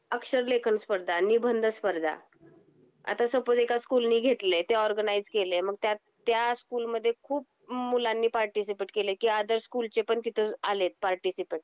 अक्षर लेखन स्पर्धा, निबंध स्पर्धा. आता सपोज एका स्कूलनी घेतले ते ऑर्गनाइज केले, मग त्या त्या स्कूल मध्ये खूप मुलांनी पार्टीसिपेट केले. की अदर स्कूल चे पण तिथे आले पार्टीसिपेंट